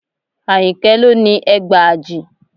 Àyìnkẹ́ ló ni ẹgbàajì